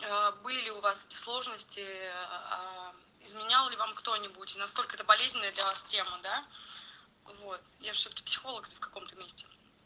а были у вас сложности ээ изменял ли вам кто-нибудь и насколько это болезненная для вас тема да вот я же всё-таки психолог в каком-то месте